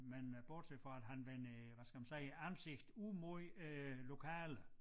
Men øh bortset fra at han vender hvad skal man sige æ ansigt ud mod øh æ lokale